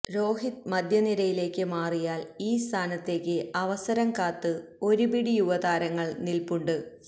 രോഹിത് മധ്യനിരയിലേക്ക് മാറിയാല് ഈ സ്ഥാനത്തേക്ക് അവസരം കാത്ത് ഒരു പിടി യുവതാരങ്ങള് നില്പ്പുണ്ട്